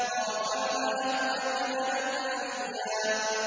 وَرَفَعْنَاهُ مَكَانًا عَلِيًّا